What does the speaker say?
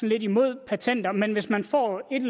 lidt imod patenter men hvis man får et